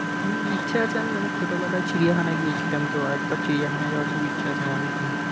হম ইচ্ছা আছে আমি অনেক ছোট বেলায় চিড়িয়াখানায় গিয়েছিলাম তো একবার চিড়িয়াখানায় যাওয়ার খুব ইচ্ছা আছে আমার recently